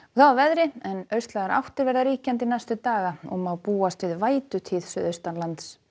að veðri en austlægar áttir verða ríkjandi næstu daga og má búast við suðaustanlands